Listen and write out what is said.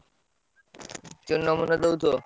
ମତେ ଦଉଥିବ।